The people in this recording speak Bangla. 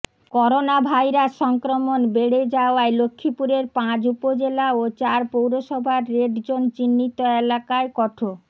করোনাভাইরাস সংক্রমন বেড়ে যাওয়ায় লক্ষ্মীপুরের পাঁচ উপজেলা ও চার পৌরসভার রেড জোন চিহ্নিত এলাকায় কঠো